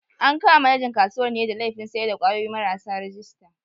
An kama manajan kasuwar ne da laifin sayar da kwayoyi marasa rajista.